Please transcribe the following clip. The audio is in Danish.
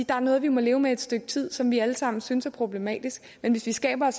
der er noget vi må leve med et stykke tid og som vi alle sammen synes er problematisk men hvis vi skaber